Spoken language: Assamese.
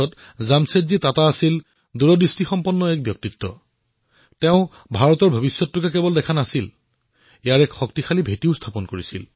জামছেদজী টাটা প্ৰকৃতাৰ্থতেই দূৰদ্ৰষ্টা ব্যক্তি আছিল যিয়ে কেৱল ভাৰত ভৱিষ্যত প্ৰত্যক্ষ কৰাই নহয় ইয়াৰ শক্তিশালী ভেঁটিটোও লক্ষ্য কৰিছিল